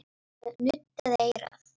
Hann nuddaði eyrað.